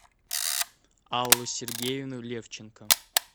аллу сергеевну левченко